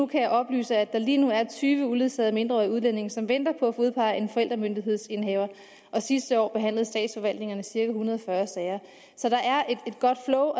kan oplyse at der lige nu er tyve uledsagede mindreårige udlændinge som venter på at få udpeget en forældremyndighedsindehaver sidste år behandlede statsforvaltningerne cirka en hundrede og fyrre sager så der er et godt flow